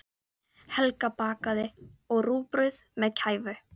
Helga bakaði, og rúgbrauð með kæfu.